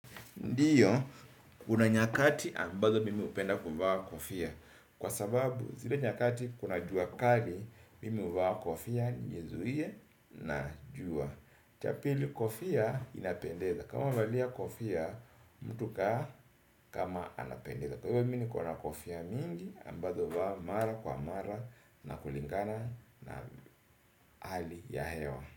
Ndio, kuna nyakati ambazo mimi hupenda kuvaa kofia. Kwa sababu, zile nyakati kuna jua kali, mimi huvaa kofia nizuie na jua. Cha pili kofia inapendeza. Kama valia kofia, mtu kaa kama anapendeza. Kwa hivyo mi niko na kofia mingi, ambazo vaa mara kwa mara na kulingana na hali ya hewa.